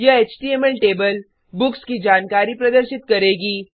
यह HTML table books की जानकारी प्रदर्शित करेगी